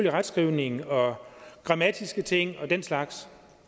er retskrivning og grammatiske ting og den slags